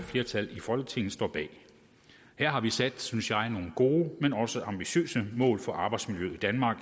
flertal i folketinget står bag her har vi sat nogle synes jeg gode men også ambitiøse mål for arbejdsmiljøet i danmark